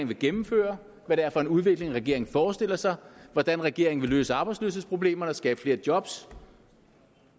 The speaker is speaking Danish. vil gennemføre hvad det er for en udvikling regeringen forestiller sig hvordan regeringen vil løse arbejdsløshedsproblemerne og skabe flere job